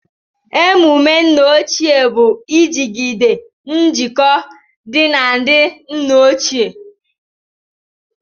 Emumé nna ochie bụ ijigide njikọ dị na ndị nna ochie